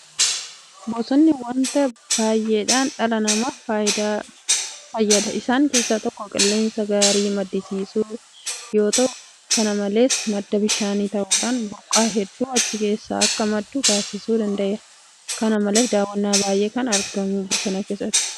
Bosonni waanta baay'eedhaan dhala namaa fayyada. Isaan keessaa tokko qilleensa gaarii maddisiisuu yoota'u; Kana malees madda bishaanii ta'uudhaan burqaa hedduun achi keessaa akka maddu taasisuu danda'eera. Kana malees dawaan baay'een kan argamu bosona keessaati.